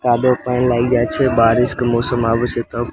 कादो पेन लाग जाय छै बारिश के मौसम आवे छै तब।